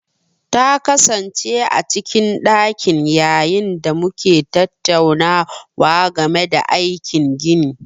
Ta kasance a cikin ɗakin ta yayin da muke tattaunawa game da aikin gini.